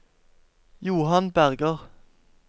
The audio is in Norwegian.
Johan Berger